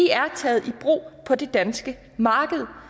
er taget i brug på det danske marked